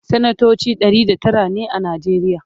sanatoci Ɗari da Tara ne a najeriya